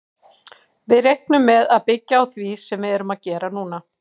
Við reiknum með að byggja á því sem við erum að gera núna.